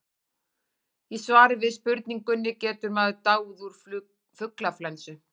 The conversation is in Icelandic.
í svari við spurningunni getur maður dáið úr fuglaflensu